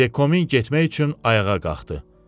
Vekomin getmək üçün ayağa qalxdı.